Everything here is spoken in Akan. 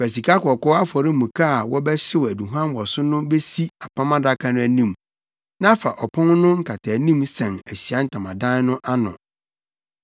Fa sikakɔkɔɔ afɔremuka a wɔbɛhyew aduhuam wɔ so no besi Apam Adaka no anim na fa ɔpon no nkataanim sɛn Ahyiae Ntamadan no ano.